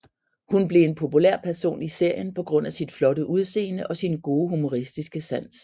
Hun blev en populær person i serien på grund af sit flotte udsende og sin gode humoristiske sans